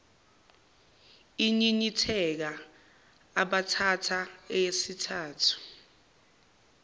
inyinyitheka ubhatata eyesithathu